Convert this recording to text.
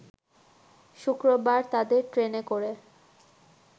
শুক্রবার তাদের ট্রেনে করে